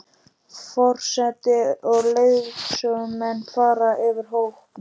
Forseti og leiðsögumenn fara fyrir hópnum.